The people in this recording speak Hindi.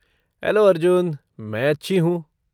हैलो अर्जुन! मैं अच्छी हूँ।